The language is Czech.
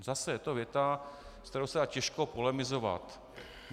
Zase je to věta, se kterou se dá těžko polemizovat.